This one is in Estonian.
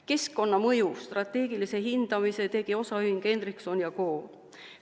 Keskkonnamõju strateegilise hindamise tegi osaühing Hendrikson & Ko.